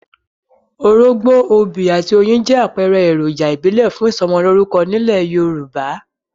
Orógbó, obì, àti oyin jẹ́ àpẹẹrẹ èròjà ìbílẹ̀ fún ìsọmọlórúkọ nílẹ̀ Yorùbá.